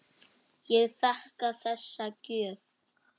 Ég þakka þessa gjöf.